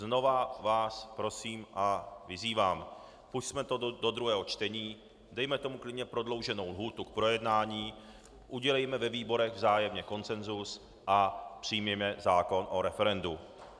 Znovu vás prosím a vyzývám - pusťme to do druhého čtení, dejme tomu klidně prodlouženou lhůtu k projednání, udělejme ve výborech vzájemně konsensus a přijměme zákon o referendu.